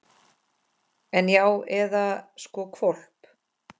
En. já, eða sko hvolp.